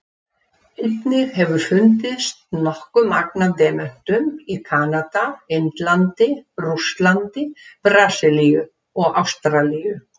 Einnig hefur fundist nokkuð magn af demöntum í Kanada, Indlandi, Rússlandi, Brasilíu og Ástralíu.